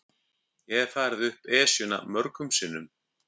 Ég hef farið upp Esjuna mörgum sinnum.